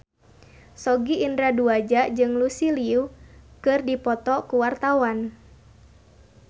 Sogi Indra Duaja jeung Lucy Liu keur dipoto ku wartawan